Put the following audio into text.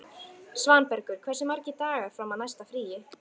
Svanbergur, hversu margir dagar fram að næsta fríi?